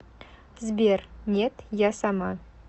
сбер нет я сама